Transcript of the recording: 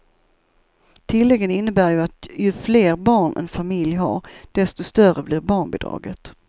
Tilläggen innebär att ju fler barn en familj har, desto större blir barnbidraget.